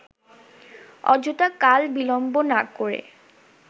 অযথা কাল-বিলম্ব না করে